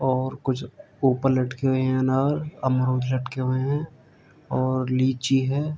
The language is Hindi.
और कुछ ऊपर लटके हुए हैं अनार अमरूद लटके हुए हैं और लीची है।